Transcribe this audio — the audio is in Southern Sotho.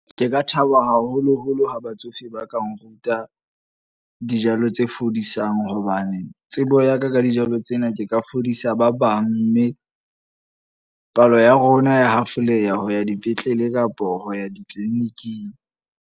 Ke ka thaba haholo-holo ha batsofe ba ka nruta dijalo tse fodisang. Hobane tsebo ya ka ka dijalo tsena ke ka fodisa ba bang. Mme palo ya rona ya hafoleha ho ya dipetlele kapo ho ya di-clinic-ing.